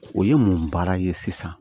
O ye mun baara ye sisan